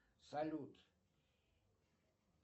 салют